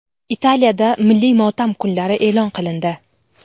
Italiyada milliy motam kunlari e’lon qilindi.